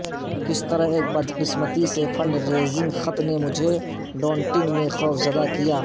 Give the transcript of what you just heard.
کس طرح ایک بدقسمتی سے فنڈ ریزنگ خط نے مجھے ڈونٹنگ میں خوفزدہ کیا